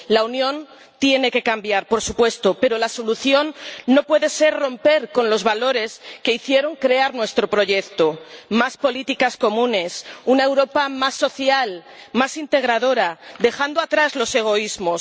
La Unión tiene que cambiar, por supuesto, pero la solución no puede ser romper con los valores que hicieron crear nuestro proyecto más políticas comunes, una Europa más social y más integradora, dejando atrás los egoísmos.